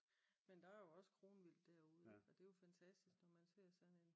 Men der er jo også kronvildt derude og det er jo fantastisk når man ser sådan en